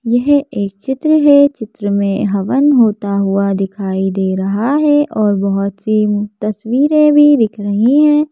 यह एक चित्र है चित्र में हवन होता हुआ दिखाई दे रहा है और बहुत सी तस्वीरें भी दिख रही है।